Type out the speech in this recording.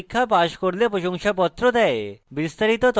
online পরীক্ষা pass করলে প্রশংসাপত্র দেয়